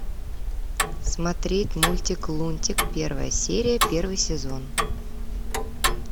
смотреть мультик лунтик первая серия первый сезон